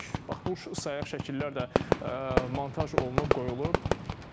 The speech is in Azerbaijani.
Bax bu sayaq şəkillər də montaj olunub, qoyulub.